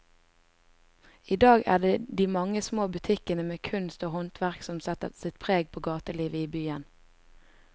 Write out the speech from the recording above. I dag er det de mange små butikkene med kunst og håndverk som setter sitt preg på gatelivet i byen.